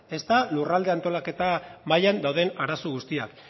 ezta lurralde antolaketa mailan dauden arazo guztiak